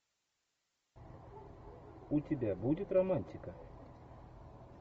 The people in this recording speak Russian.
у тебя будет романтика